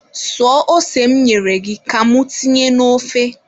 Suo ose m nyere gị ka mụ tinye n'of!